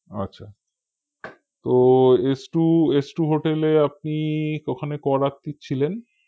আচ্ছা তো এস্ট্ররু এস্ট্ররু hotel এ আপনি ওখানে ক রাত্রি ছিলেন